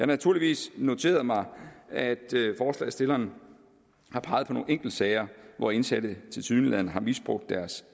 naturligvis noteret mig at forslagsstillerne har peget på nogle enkeltsager hvor indsatte tilsyneladende har misbrugt deres